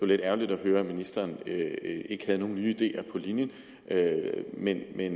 lidt ærgerligt at høre at ministeren ikke havde nogen nye ideer på linjen men vil